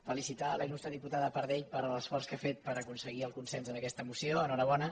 felicitar la il·lustre diputada pardell per l’esforç que ha fet per aconseguir el consens en aquesta moció enhorabona